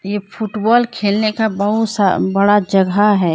ये फुटबॉल खेलने का बहुत सा बड़ा जगह है।